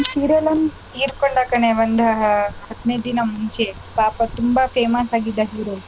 ಒಂದ್ serial ಅವ್ನ್ ತೀರ್ಕೊಂಡ ಕಣೆ ಒಂದ್ ಹದಿನೈದು ದಿನ ಮುಂಚೆ ಪಾಪ ತುಂಬಾ famous ಆಗಿದ್ದ hero .